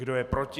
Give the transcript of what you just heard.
Kdo je proti?